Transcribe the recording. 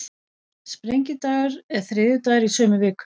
Sprengidagur er þriðjudagurinn í sömu viku.